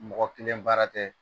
Mɔgɔ kelen baara tɛ